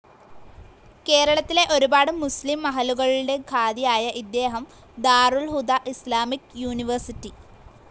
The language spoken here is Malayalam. കേരളത്തിലെ ഒരുപാട് മുസ്‌ലിം മഹല്ലുകളുടെ ഖാദിയായ ഇദ്ദേഹം ദാറുൽ ഹുദാ ഇസ്‍ലാമിക് യൂനിവേഴ്‍സിറ്റി,